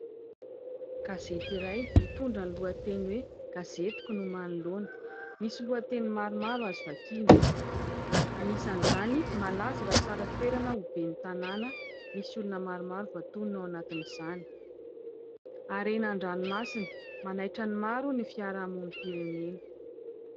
Gazety iray mitondra ny lohateny hoe Gazetiko no manoloana, misy lohateny maromaro azo vakiana : anisan'izany, "malaza fa tsara toerana ho ben'ny tanàna", misy olona maromaro voatonona ao anatin'izany ; haren-dranomasina, "manaitra ny maro ny fiarahamonim-pirenena".